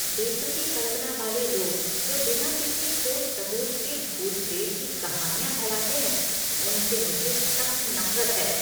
बेतुकी कल्पना वाले लोग जो बिना किसी ठोस सबूत के भूत प्रेत की कहानियाँ फैलाते हैं, उनसे मुझे सख्त नफ़रत है।